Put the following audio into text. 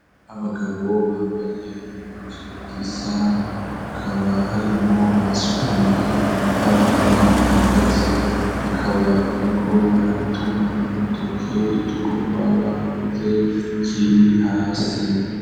Abagabo bambaye impuzu zisa, hakaba harimo abasutamye n'abandi bahagaze bakaba bariko baratuma urutoke igikorwa bakoze kiri hasi.